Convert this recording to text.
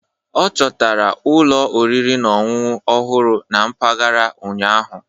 Ọ chọtara ụlọ oriri na ọṅụṅụ ọhụrụ na mpaghara ụnyahụ.